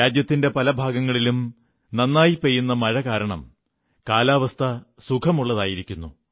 രാജ്യത്തിന്റെ പലഭാഗങ്ങളിലും നന്നായി പെയ്യുന്ന മഴ കാരണം കാലാവസ്ഥ സുഖമുള്ളതായിരിക്കുന്നു